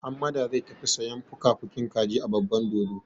Hammada zai tafi sayan fukafukin kaji a babban dodo.